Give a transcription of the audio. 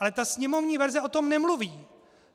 Ale ta sněmovní verze o tom nemluví.